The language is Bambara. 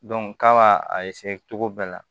k'a b'a a cogo bɛɛ la